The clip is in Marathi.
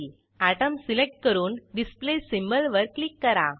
अटोम सिलेक्ट करून डिस्प्ले सिंबॉल वर क्लिक करा